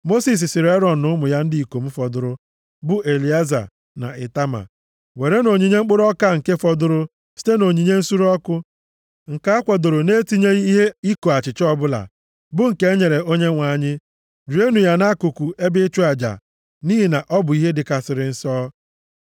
Mosis sịrị Erọn na ụmụ ya ndị ikom fọdụrụ, bụ Elieza na Itama, “Werenụ onyinye mkpụrụ ọka nke fọdụrụ site na onyinye nsure ọkụ, nke a kwadoro na-etinyeghị ihe iko achịcha ọbụla, bụ nke e nyere Onyenwe anyị. Rienụ ya nʼakụkụ ebe ịchụ aja, nʼihi na ọ bụ ihe dịkarịsịrị nsọ.